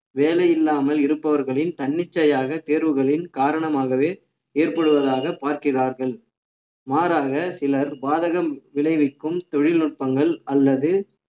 வேலை இல்லாமல் இருப்பவர்களின் தன்னிச்சையாக தேர்வுகளின் காரணமாகவே ஏற்படுவதாக பார்க்கிறார்கள் மாறாக சிலர் பாதகம் விளைவிக்கும் தொழில்நுட்பங்கள் அல்லது